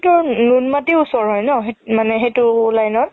তোৰ নুনমাতিৰ ওচৰ হয় ন মানে সেইটো line ত